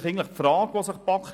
Auch dies wurde diskutiert.